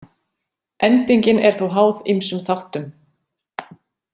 Endingin er þó háð ýmsum þáttum.